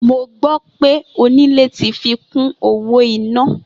Mo gbó̩ pé onílé tí fi kún owó iná